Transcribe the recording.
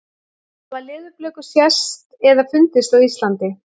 Hafa leðurblökur sést eða fundist á Íslandi?